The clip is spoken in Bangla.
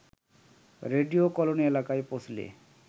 রেডিও কেলোনি এলাকায় পৌঁছলে